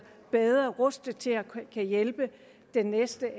bedre rustet til at kunne hjælpe de næste